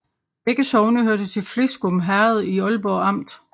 Begge sogne hørte til Fleskum Herred i Aalborg Amt